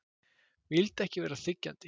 Vildi ekki vera þiggjandi.